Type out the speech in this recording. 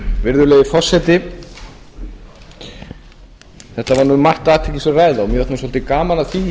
var um margt athyglisverð ræða mér fannst gaman að því